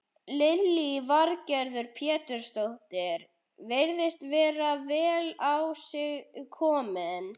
Lillý Valgerður Pétursdóttir: Virðist vera vel á sig kominn?